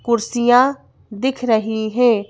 कुर्सियां दिख रही हैं।